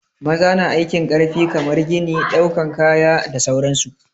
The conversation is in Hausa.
Maza na aikin ƙarfi kamar gini, ɗaukan kaya da sauran su.